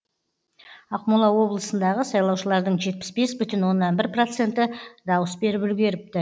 ақмола облысындағы сайлаушылардың жетпіс бес бұтін оннан бір проценті дауыс беріп үлгеріпті